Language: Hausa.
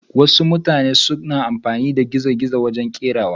wasu mutane sukan amfani da zanen gizo-gizo a kerawa.